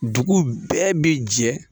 Dugu bɛɛ bi jɛ